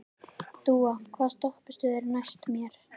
Dúa, hvaða stoppistöð er næst mér?